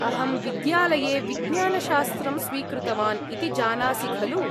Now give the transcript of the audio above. अहं विद्यालये विज्ञानशास्त्रं स्वीकृतवान् इति जानासि खलु।